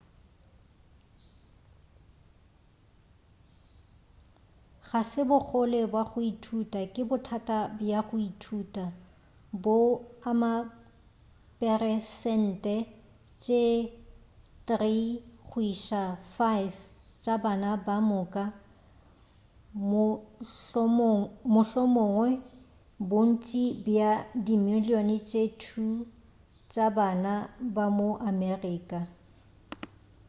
ga se bogole bja go ithuta ke bothata bja go ithuta bo ama diperesente tše 3 go iša go 5 tša bana ka moka mohlomongwa bontši bja dimilion tše 2 tša bana ba ma-amerika